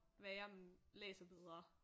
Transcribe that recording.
Værre læser bedre